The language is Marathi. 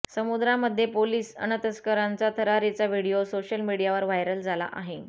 समुद्रामध्ये पोलिस अन् तस्करांचा थरारीचा व्हिडिओ सोशल मीडियावर व्हायरल झाला आहे